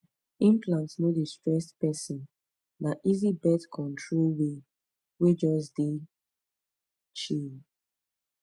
implant no dey stress person na easy birth control way wey just dey pause chill pause